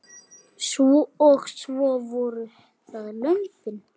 Og svo voru það lömbin.